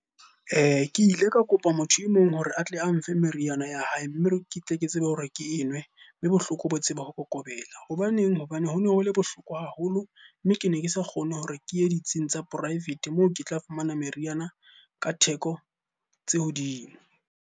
Ke ile ka kopa motho e mong hore a tle a mfe meriana ya hae, mme ke tle ke tsebe hore ke e nwe, mme bohloko bo tsebe ho kokobela. Hobaneng? Hobane ho no ho le bohloko haholo mme ke ne ke sa kgone hore ke ye ditsing tsa poraefete moo ke tla fumana meriana ka theko tse hodimo.